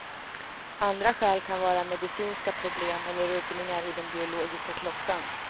Andra skäl kan vara medicinska problem eller rubbningar i den biologiska klockan.